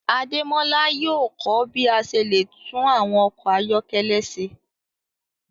Ademola yóò ko bi a ṣe le tun awọn ọkọ ayọkẹlẹ ṣe